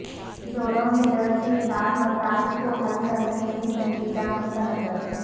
جوڑوں میں درد کے ساتھ مسائل کو حل کرنے میں سنجیدہ نقطہ نظر